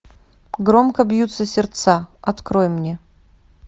громко бьются сердца открой мне